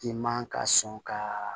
I man ka sɔn ka